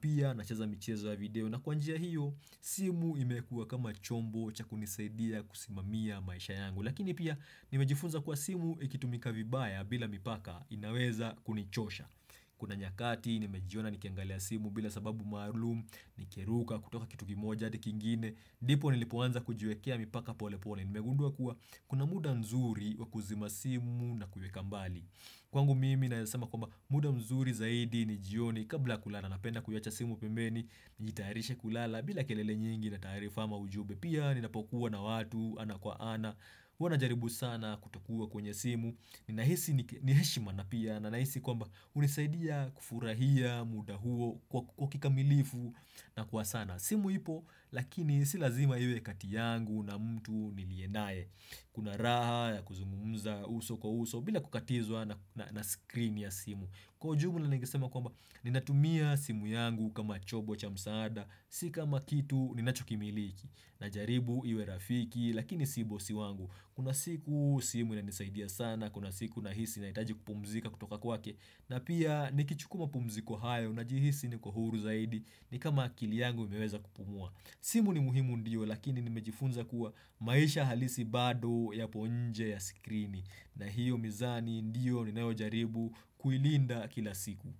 Pia nacheza michezo ya video na kwa njia hiyo simu imekuwa kama chombo cha kunisaidia kusimamia maisha yangu. Lakini pia nimejifunza kwa simu ikitumika vibaya bila mipaka inaweza kunichosha. Kuna nyakati nimejiona nikiangalia simu bila sababu maalum, nikiruka, kutoka kitu kimoja adi kingine, ndipo nilipoanza kujiwekea mipaka polepole, nimegundua kuwa kuna muda nzuri wakuzima simu na kuiweka mbali. Kwangu mimi naeza sema kwamba muda mzuri zaidi ni jioni kabla kulala napenda kuacha simu pembeni, nijitarishe kulala bila kelele nyingi na taarifa ama ujumbe. Pia ninapokuwa na watu ana kwa ana, huwa najaribu sana kutokuwa kwenye simu. Nahisi ni heshima na pia na nahisi kwamba hunisaidia kufurahia muda huo kwa kikamilifu na kwa sana simu ipo lakini si lazima iwe kati yangu na mtu niliyenaye Kuna raha ya kuzungumza uso kwa uso bila kukatizwa na ''screen'' ya simu Kwa ujumla ningesema kwamba ninatumia simu yangu kama chombo cha msaada Si kama kitu ninachokimiliki najaribu iwe rafiki lakini si bosi wangu Kuna siku simu inanisaidia sana, kuna siku nahisi nahitaji kupumzika kutoka kwake na pia nikichukuwa mapumziko hayo unajihisi niko huru zaidi ni kama akili yangu imeweza kupumua. Simu ni muhimu, ndiyo lakini nimejifunza kuwa maisha halisi bado yapo nje ya sikrini na hiyo mizani ndiyo ni ninayo jaribu kuilinda kila siku.